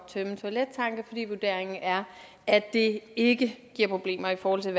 tømme toilettanke fordi vurderingen er at det ikke giver problemer i forhold til